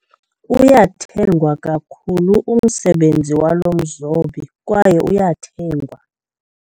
Uyathengwa kakhulu umsebenzi walo mzobi kwaye uyathengwa.